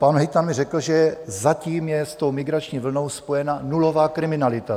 Pan hejtman mi řekl, že zatím je s tou migrační vlnou spojena nulová kriminalita.